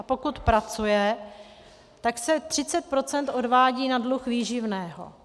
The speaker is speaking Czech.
A pokud pracuje, tak se 30 % odvádí na dluh výživného.